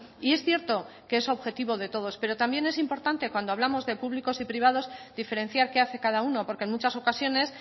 y es cierto que es objetivo de todos pero también es importante cuando hablamos de públicos y privados diferenciar qué hace cada uno porque en muchas ocasiones